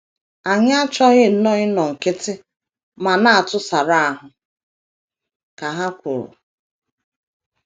“ Anyị achọghị nnọọ ịnọ nkịtị ma na - atụsara ahụ, ” ka ha kwuru.